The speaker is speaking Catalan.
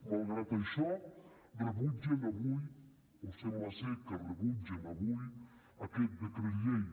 malgrat això rebutgen avui o sembla ser que rebutgen avui aquest decret llei